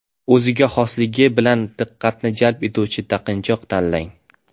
O‘ziga xosligi bilan diqqatni jalb etuvchi taqinchoq tanlang.